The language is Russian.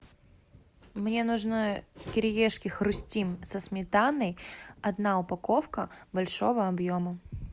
мне нужны кириешки хрустим со сметаной одна упаковка большого объема